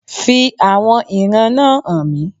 Fi àwọn ìran náà hàn mí